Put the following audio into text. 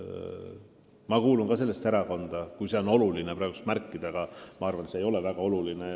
Ma kuulun ka sellesse erakonda, kui seda on oluline praegu märkida – arvan siiski, et see ei ole väga oluline.